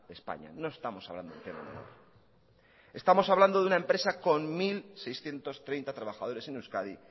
de españa no estamos hablando estamos hablando de una empresa con mil seiscientos treinta trabajadores en euskadi